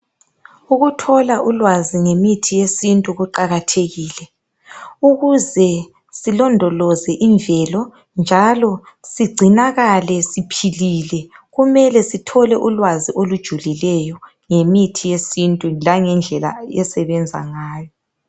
ukuthola ulwazi ngemithi yesintu kuqhakathekile ukuze silondoloze imvelo njalo sicinakale siphilile kumele sithole ulwazi olujulileyo ngemithi yesintu langendlela esebenza ngayo